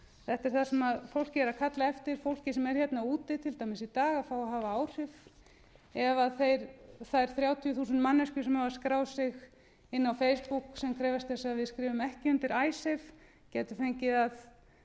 þetta er það sem fólkið er að kalla eftir fólkið sem er hérna úti til dæmis í dag að fá að hafa áhrif ef þær þrjátíu þúsund manneskjur sem hafa skráð sig inn á facebook sem krefjast þess að við skrifum ekki undir icesave gætu fengið að